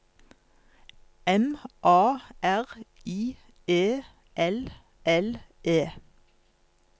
M A R I E L L E